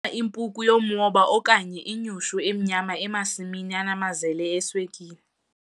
ungayibona impuku yomwoba okanye inyushu emnyama emasimini anamazele eswekile